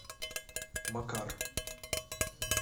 макар